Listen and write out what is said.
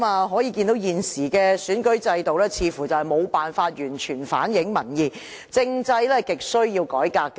可見現時的選舉制度似乎無法完全反映民意，政制亟需要改革。